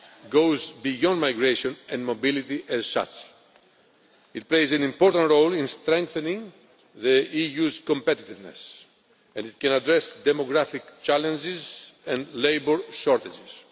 goes beyond migration and mobility as such. It plays an important role in strengthening the EU's competitiveness and it can address demographic challenges and labour shortages.